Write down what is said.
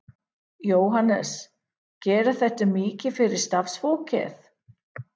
Jóhannes: Gerir þetta mikið fyrir starfsfólkið?